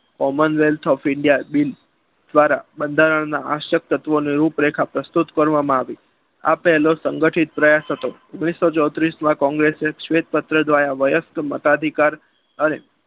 common wealth of india bill દ્વારા બંધારણના શાસક શાસક તત્વોના રૂપરેખા પસાર પ્રસ્તુત કરવામાં આવી આ પહેલો સંગઠિત પ્રયાસ હતો. ઓગણીસો ચોતરિસ માં કોંગ્રેસે શ્વેત પત્ર દ્વારા મતાધિકાર અને